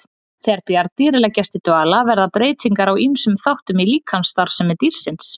Þegar bjarndýr leggst í dvala verða breytingar á ýmsum þáttum í líkamsstarfsemi dýrsins.